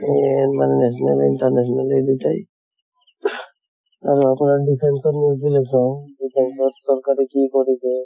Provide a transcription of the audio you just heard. এনে national international এই দুটাই ing আৰু আপোনাৰ defence ৰ news বিলাক চাওঁ। defence ত চৰকাৰে কি কৰিছে